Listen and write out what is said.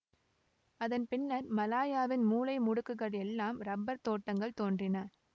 அதன் பின்னர் மலாயாவின் மூலை முடுக்குகள் எல்லாம் ரப்பர் தோட்டங்கள் தோன்றின